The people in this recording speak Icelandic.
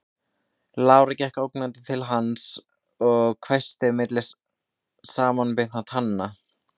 Lára gekk ógnandi til hans og hvæsti milli samanbitinna tanna